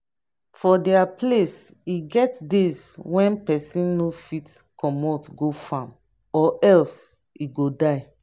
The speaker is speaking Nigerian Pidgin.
for dia place e get days when person no fit comot go farm or else e go die